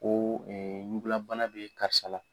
Ko ɲugulabana bɛ karisa la.